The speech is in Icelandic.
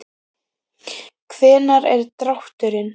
Hvenær er drátturinn?